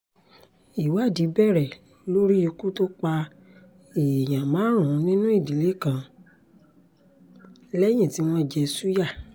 ìwádìí bẹ̀rẹ̀ lórí ikú tó pa èèyàn márùn-ún nínú ìdílé kan lẹ́yìn tí wọ́n jẹ́ ṣùyà